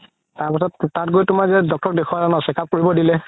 তাৰ পিছত তাত গৈ তুমাৰ যে doctor দেখুৱালে ন check up কৰিবলৈ দিলে